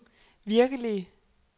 virkelige